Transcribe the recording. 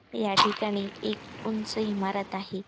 या ठिकाणी एक उंच इमारत आहे.